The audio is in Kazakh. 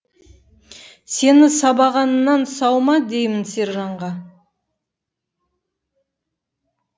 сені сабағаннан сау ма деймін сержанға